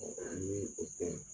ni o tɛ.